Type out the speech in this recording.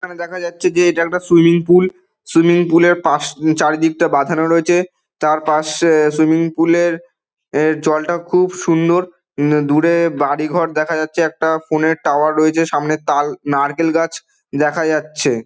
এখানে দেখা যাচ্ছে যে এটা একটা সুইমিং পুল । সুইমিং পুল -এর পাশ চারিদিকটা বাঁধানো রয়েছে। তার পাশ এ সুইমিং পুল - এর এ জলটা খুব সুন্দর। উ দূরে বাড়ি ঘর দেখা যাচ্ছে। একটা ফোন -এর টাওয়ার রয়েছে। সামনে তাল নারকেল গাছ দেখা যাচ্ছে।